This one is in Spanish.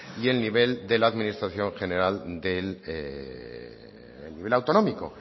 y el nivel de la administración general del nivel autonómico